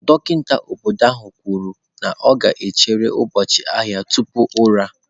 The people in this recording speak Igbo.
Dọkịta obodo ahụ kwuru na ọ ga-echere ụbọchị ahịa tupu ụra.